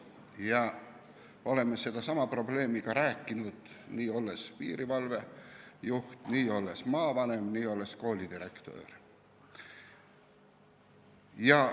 Ja oleme sellestsamast probleemist rääkinud, kui ma olin piirivalvejuht, maavanem või ka koolidirektor.